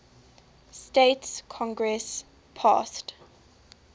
states congress passed